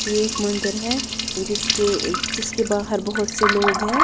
यह एक मंदिर है जिसके जिसके बाहर बहुत से लोग हैं।